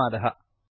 धन्यवादः